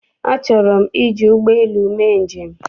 Achọrọ m iji ụgbọelu mee njem.